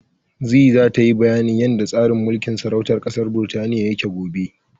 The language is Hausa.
Zee zata yi bayanin yanda tsarin mulkin sarautar ƙasar Birtaniya yake gobe.